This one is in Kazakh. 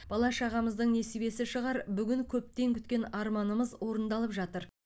бала шағамыздың несібесі шығар бүгін көптен күткен арманымыз орындалып жатыр